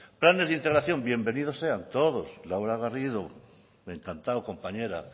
planes de integración bienvenidos sean todos laura garrido encantado compañera